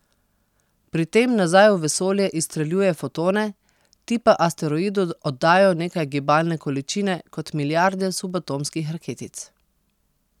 Pri tem nazaj v vesolje izstreljuje fotone, ti pa asteroidu oddajo nekaj gibalne količine kot milijarde subatomskih raketic.